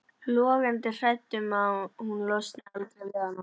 Logandi hrædd um að hún losni aldrei við hann.